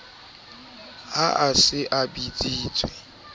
ha a se a bitsitswe